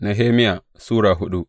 Nehemiya Sura hudu